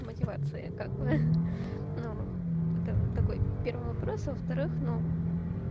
мотивация как бы ха-ха ну вот такой первый вопрос а во-вторых ну